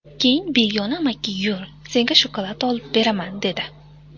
Keyin begona amaki ‘yur, senga shokolad olib beraman’, dedi.